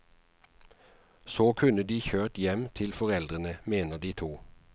Så kunne de kjørt dem hjem til foreldrene, mener de to.